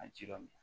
A ji dɔ min